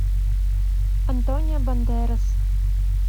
антонио бандерас